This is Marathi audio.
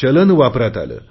चलन वापरात आले